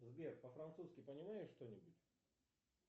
сбер по французски понимаешь что нибудь